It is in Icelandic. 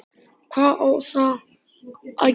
Hvað á þá að gera?